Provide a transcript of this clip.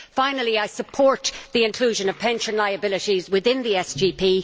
Finally, I support the inclusion of pension liabilities within the SGP.